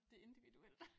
Det individuelt